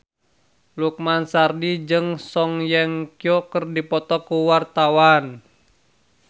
Lukman Sardi jeung Song Hye Kyo keur dipoto ku wartawan